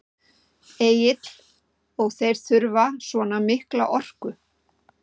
Egill: Og þeir þurfa svona mikla orku?